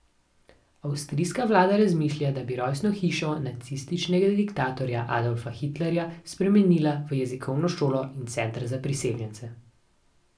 Avstrijska vlada razmišlja, da bi rojstno hišo nacističnega diktatorja Adolfa Hitlerja spremenila v jezikovno šolo in center za priseljence.